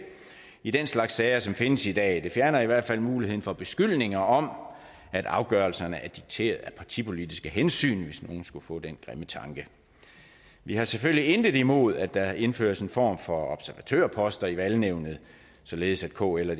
i den slags sager som findes i dag det fjerner i hvert fald muligheden for beskyldninger om at afgørelserne er dikteret af partipolitiske hensyn hvis nogen skulle få den grimme tanke vi har selvfølgelig intet imod at der indføres en form for observatørposter i valgnævnet således at kl og